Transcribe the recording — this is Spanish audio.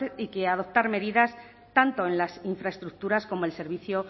cuanto antes y adoptar medidas tanto en las infraestructuras como el servicio